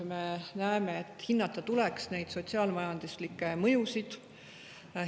Me näeme, et neid sotsiaal-majanduslikke mõjusid tuleks hinnata.